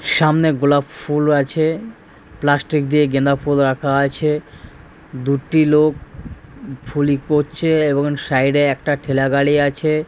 সামনে গোলাপ ফুল আছে। প্লাস্টিক দিয়ে গাঁদাফুল রাখা আছে। দুটি লোক ফুলি করছে এবং সাইড এ একটা ঠেলাগাড়ি আছে ।